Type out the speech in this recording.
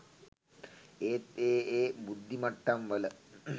එහෙත් ඒ ඒ බුද්ධිමට්ටම් වල